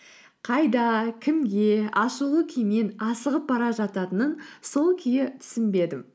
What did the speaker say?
қайда кімге ашулы күймен асығып бара жататынын сол күйі түсінбедім